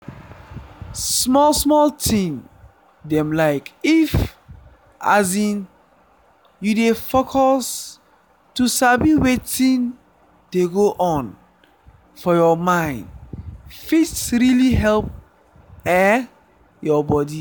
small small thing dem like if you dey focus to sabi wetin dey go on for your mind fit really help[um]your body.